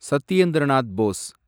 Satyendra Nath Bose